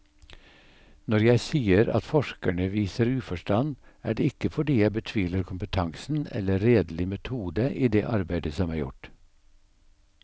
Når jeg sier at forskerne viser uforstand, er det ikke fordi jeg betviler kompetansen eller redelig metode i det arbeid som er gjort.